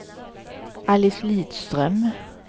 Alice Lidström